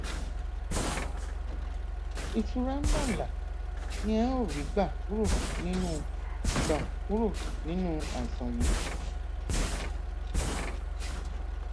ìtura ńláǹlà ni ẹ ó rí gbà kúrò nínú gbà kúrò nínú àìsàn yìí